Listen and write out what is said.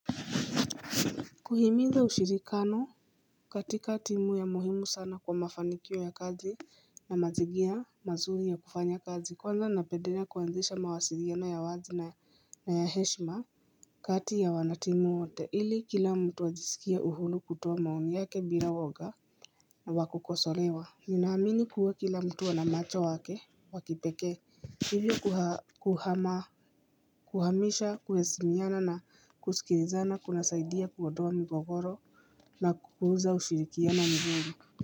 Kuhimiza ushirikano katika timu ya muhimu sana kwa mafanikio ya kazi na mazigira mazuri ya kufanya kazi kwanza napedelea kuanzisha mawasiriaona ya wazi na ya heshima kati ya wanatimu wote ili kila mtu ajisikia uhuru kutoa maoni yake bila woga na wakukosolewa Ninaamini kuwe kila mtu ana macho wake wakipekee Hivyo kuhamisha kuheshimiana na kusikilizana kuna saidia kuondoa migogoro na kukuza ushirikiano mzuri.